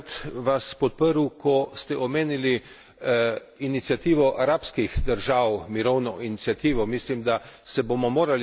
Tudi bi rad vas podprl, ko ste omenili iniciativo arabskih držav, mirovno iniciativo.